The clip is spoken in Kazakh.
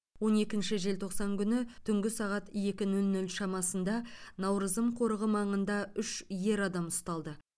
он екінші желтоқсан күні түнгі сағат екі нөл нөл шамасында наурызым қорығы маңында үш ер адам ұсталды